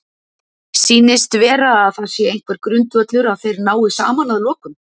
Sýnist vera að það sé einhver grundvöllur að þeir nái saman að lokum?